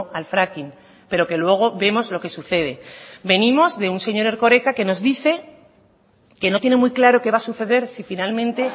al fracking pero que luego vemos lo que sucede venimos de un señor erkoreka que nos dice que no tiene muy claro qué va a suceder si finalmente